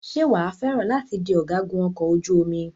Ṣé wàá fẹ́ràn láti di ọ̀gágun ọkọ̀ ojú omi?